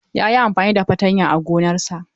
Ya yi amfani da fatanya a gonarsa.